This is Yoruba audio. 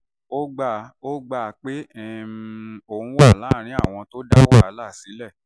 ó gbà ó gbà um pé òun wà lára àwọn tó dá wàhálà náà sílẹ̀